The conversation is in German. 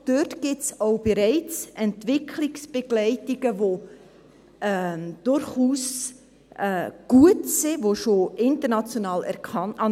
Dort gibt es auch bereits Entwicklungsbegleitungen, die durchaus gut sind, die international anerkannt sind.